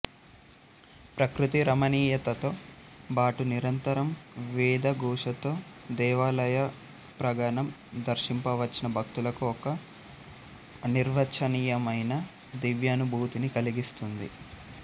ప్రకృతి రమణీయతతో బాటు నిరంతరం వేద ఘోషతో దేవాలయ ప్రాగణం దర్శింప వచ్చిన భక్తులకు ఒక అనిర్వచనీయమైన దివ్యానుభూతిని కలిగిస్తోంది